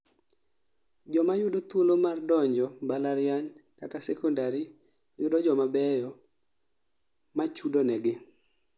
joma yudo thuolo mar donjo mbalariany kata sekondari yudo joma beyo machudo negi